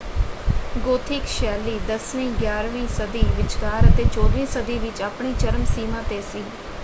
Gothic ਸ਼ੈਲੀ 10ਵੀਂ-11ਵੀਂ ਸਦੀ ਵਿਚਕਾਰ ਅਤੇ 14 ਵੀਂ ਸਦੀ ਵਿੱਚ ਆਪਣੀ ਚਰਮ ਸੀਮਾ ‘ਤੇ ਸੀ।